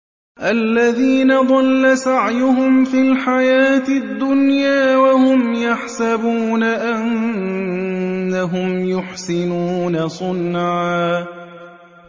الَّذِينَ ضَلَّ سَعْيُهُمْ فِي الْحَيَاةِ الدُّنْيَا وَهُمْ يَحْسَبُونَ أَنَّهُمْ يُحْسِنُونَ صُنْعًا